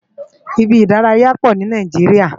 Ibi idàráyá pó ni Nàijiriá